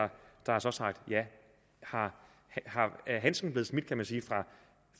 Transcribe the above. har sagt ja er handsken blevet smidt kan man sige